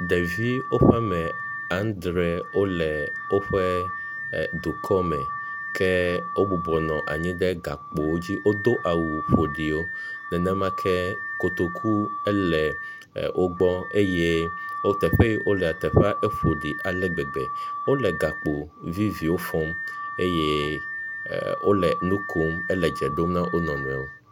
Ɖevi woƒe ame adre wole woƒe dukɔme. Ke wobubɔ anyi ɖe gakpowo dzi, wodo awu ƒoɖiwo nenemake kotoku ele wo gbɔ eye wo…teƒe yi wolea teƒea ƒoɖi ale gbegbe. Wole gakpo viviwo fɔm eye wole nu kom le dze ɖom na wo nɔnɔewo.